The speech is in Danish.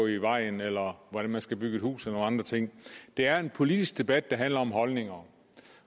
i vejen eller hvordan man skal bygge et hus eller andre ting det er en politisk debat det handler om holdninger